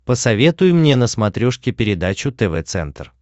посоветуй мне на смотрешке передачу тв центр